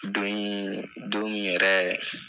Don in don min yɛrɛ